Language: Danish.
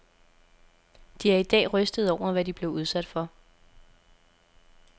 De er i dag rystede over, hvad de blev udsat for.